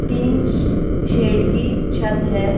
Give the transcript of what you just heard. Tin श shed की छत है ।